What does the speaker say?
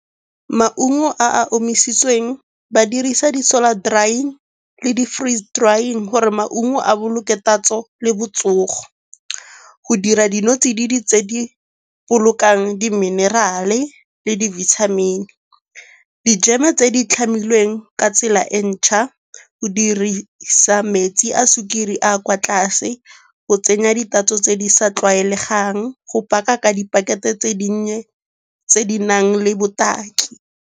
Maungo a a omisitsweng ba dirisa di-solo drying le di-free drying gore maungo a boloke tatso le botsogo. Go dira dinotsididi tse di bolokang di-mineral-e le dibithamini. Di-jam-e tse di tlhamilweng ka tsela e ntšhwa o dirisa metsi a sukiri a a kwa tlase go tsenya di tatso tse di sa tlwaelegang, go paka ka dipakete tse dinnye tse di nang le botaki.